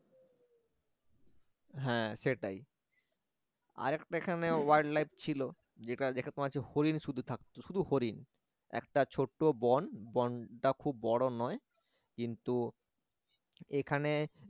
হ্যাঁ সেটাই আরেকটা এখানে wild life ছিল যেটা যেটা তোমার হচ্ছে হরিণ শুধু থাকতো শুধু হরিণ একটা ছোট বন বনটা খুব বড় নয় কিন্তু এখানে